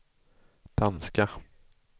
danska